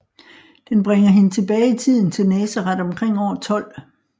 Den bringer hende tilbage i tiden til Nazaret omkring år 12